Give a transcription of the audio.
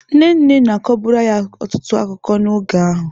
Nne nne na-akọburu anyị ọtụtụ akụkọ n'oge ahụ.